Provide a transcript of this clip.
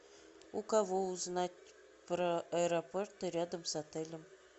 у кого узнать про аэропорты рядом с отелем